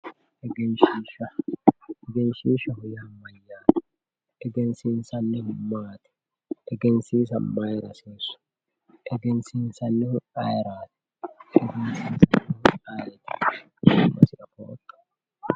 Egenshiishsha, egenshiishshaho yaa mayyate, egensiisanihu maati, egensiisa mayra hasiisu, egensiisanihu ayeerati?